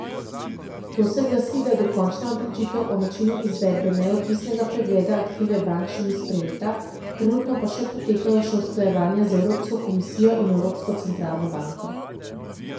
To se glasi, da dokončna odločitev o načinu izvedbe neodvisnega pregleda aktive bank še ni sprejeta, trenutno pa potekajo še usklajevanja z Evropsko komisijo in Evropsko centralno banko.